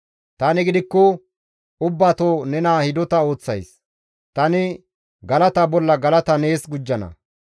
Tani gidikko ubbato nena hidota ooththays. Tani galata bolla galata nees gujjana.